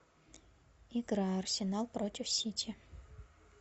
игра арсенал против сити